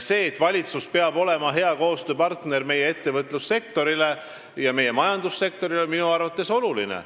See, et valitsus peab olema hea koostööpartner meie ettevõtlus- ja majandussektorile, on minu arvates oluline.